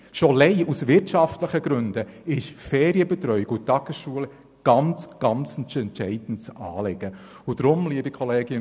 Schon allein aus wirtschaftlichen Gründen sind Ferienbetreuung und Tagesschulen ein sehr, sehr entscheidendes Anliegen.